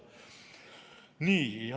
Nii.